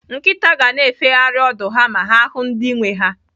Nkịta ga-na efegharị ọdụ ha ma ha hụụ ndị nwee ha.